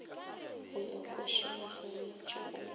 go iwa košeng oswanetše o